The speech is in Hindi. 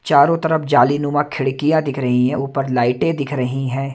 चारों तरफ जालीनुमा खिड़कियां दिख रही हैं ऊपर लाइटें दिख रहीं हैं।